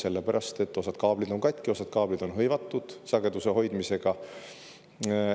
Sellepärast et osa kaableid on katki, osa kaableid on hõivatud sageduse hoidmisega.